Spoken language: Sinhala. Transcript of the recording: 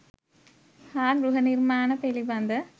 හා ගෘහනිර්මාණ පිළිබඳ